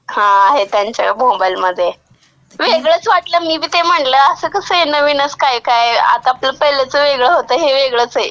हां आहे त्यांच्या मोबाईलमध्ये.वेगळंच वाटलं, मी बी ते म्हणलं असं कसं नवीनच काय काय आता तर पहिल्याचं वेगळं होतं, हे वेगळंच आहे.